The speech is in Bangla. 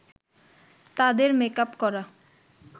তাদের মেকআপ করা